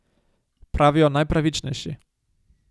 Pravijo najpravičnejši.